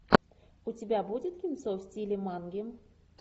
у тебя будет кинцо в стиле манги